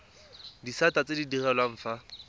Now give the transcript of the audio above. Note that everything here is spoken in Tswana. disata tse di direlwang fa